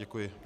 Děkuji.